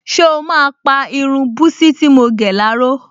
Ṣé o máa pa irun búsí tí mo gẹ̀ láró?